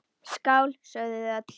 Skál, sögðu þau öll.